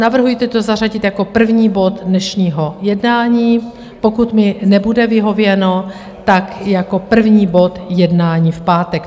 Navrhuji to zařadit jako první bod dnešního jednání, pokud mi nebude vyhověno, tak jako první bod jednání v pátek.